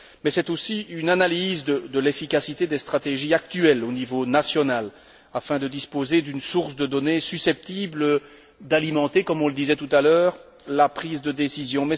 C'est aussi une analyse de l'efficacité des stratégies actuelles au niveau national afin de disposer d'une source de données susceptibles d'alimenter, comme on le disait tout à l'heure, la prise de décisions.